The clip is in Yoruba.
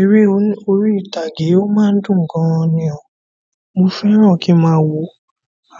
Eré orí ìtàgé ó ma ń dùn gan ni ọ̀ mo fẹ́ràn kí máa wò ó